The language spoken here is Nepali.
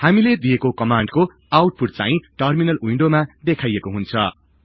हामीले दिएको कमान्डको आउटपुट चाहिं टर्मिनल विन्डोमा देखाईएको हुन्छ